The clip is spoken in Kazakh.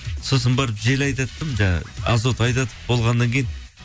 сосын барып жел айдаттым жаңағы азот айдатып болғаннан кейін